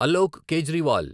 Alok Kejriwal